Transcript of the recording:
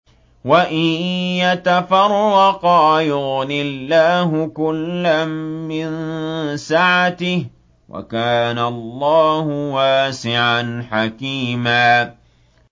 وَإِن يَتَفَرَّقَا يُغْنِ اللَّهُ كُلًّا مِّن سَعَتِهِ ۚ وَكَانَ اللَّهُ وَاسِعًا حَكِيمًا